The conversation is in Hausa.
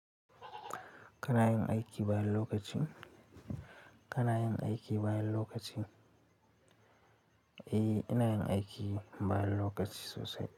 Kana yin aiki bayan lokacin? Kana yin aiki bayan lokacin? Eh, ina yin aiki bayan lokaci sosai.